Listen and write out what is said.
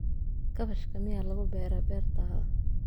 Kaabashka miyaa lagu beeraa beertaada?